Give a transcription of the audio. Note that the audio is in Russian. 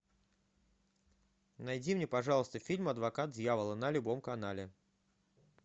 найди мне пожалуйста фильм адвокат дьявола на любом канале